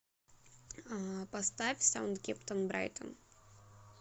поставь саутгемптон брайтон